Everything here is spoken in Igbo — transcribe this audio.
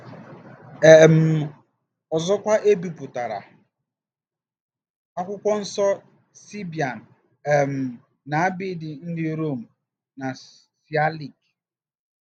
um Ọzọkwa, e bipụtara Akwụkwọ Nsọ Seebian um na abidi ndị Rom na Sịalik.